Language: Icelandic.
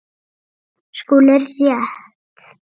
SKÚLI: Rétt!